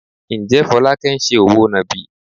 Ǹjẹ́ Folake ń ṣe òwò nàbì?